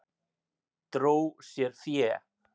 Dró sér fé